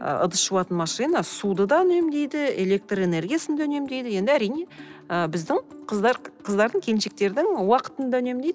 ы ыдыс жуатын машина суды да үнемдейді электроэнергиясын да үнемдейді енді әрине ы біздің қыздар қыздардың келіншектердің уақытын да үнемдейді